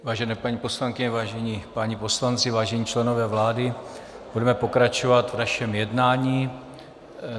Vážené paní poslankyně, vážení páni poslanci, vážení členové vlády, budeme pokračovat v našem jednání.